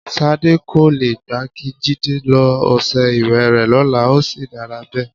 S̩adé kò le gbà kí Jídé lo o̩s̩e̩ ìwè rè̩ ló̩la, ó sì dára bé̩è̩.